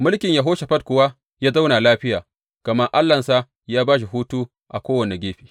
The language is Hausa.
Mulkin Yehoshafat kuwa ya zauna lafiya, gama Allahnsa ya ba shi hutu a kowane gefe.